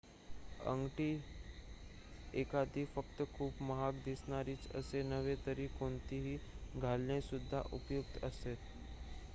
अंगठी एखादी फक्त खूप महाग दिसणारीच असे नव्हे तर कोणतीही घालणे सुद्धा उपयुक्त असते